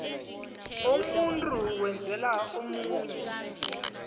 umuntu owenzela omunye